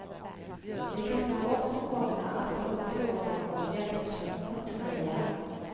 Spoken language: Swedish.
De kan då också komma att ta upp frågan om hjälptransporterna igen.